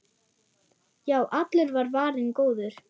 Já, allur var varinn góður!